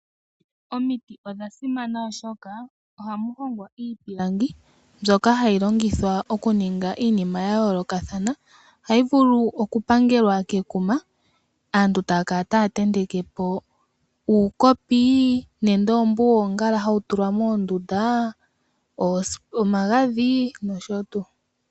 Omiti odhasimana oshoka ohamu hongwa iipilangi mbyoka hayi longithwa okuninga iinima ya yoolokathana. Ohayi vulu okupangelwa kekuma, aantu taya kala taya tenteke po uukopi nenge oombu woongala hawu tulwa moondunda, omagadhi nosho tuu.